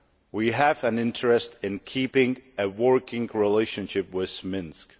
We have an interest in keeping a working relationship with Minsk.